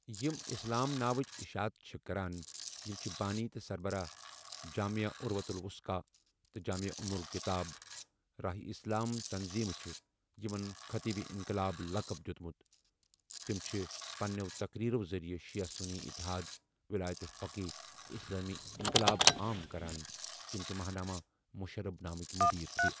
یم اِسلام ناوچ اشاعت چھےٚ کران یم چھ بانی تہ سربراہ جامع عروة الوثقی تہ جامع ام الکتاب راہ اسلام تنظیمہ چھ یمن خطیب انقلاب لقب دیوٚتمُت تم چھےٚ پنیو تقریرو ذریہ شیعہ سنی اتحاد، ولایت فقیہ تہ اسلامی انقلاب عام کران تم چھ ماہنامہ مشرب نامکی مدیر تہ۔